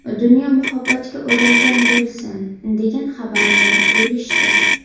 Dunyo muhabbatga o‘ralgan bo‘lsin”, degan xabarni bo‘lishdi.